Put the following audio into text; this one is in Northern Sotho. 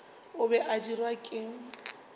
o be a dirwa ke